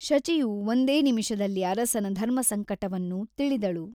ಶಚಿಯು ಒಂದೇ ನಿಮಿಷದಲ್ಲಿ ಅರಸನ ಧರ್ಮಸಂಕಟವನ್ನು ತಿಳಿದಳು.